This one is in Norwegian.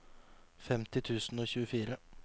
femti tusen og tjuefire